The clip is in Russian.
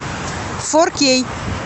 фор кей